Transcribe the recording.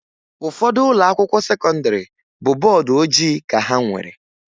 Ụfọdụ ụlọakwụkwọ sekọndịrị bụ bọọdụ ojii ka ha nwere